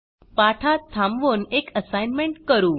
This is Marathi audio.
पाठात थांबवून एक असाइनमेंट करू